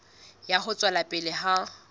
ya ho tswela pele ha